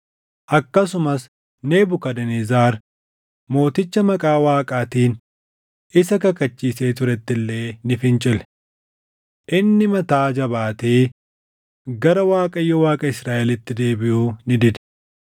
Akkasumas Nebukadnezar Mooticha maqaa Waaqaatiin isa kakachiisee turetti illee ni fincile. Inni mataa jabaatee gara Waaqayyo Waaqa Israaʼelitti deebiʼuu ni dide.